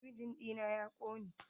Talabijin ɗina ya ƙone.